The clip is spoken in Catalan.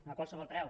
no a qualsevol preu